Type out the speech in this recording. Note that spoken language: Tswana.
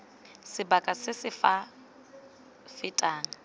sebaka se se sa feteng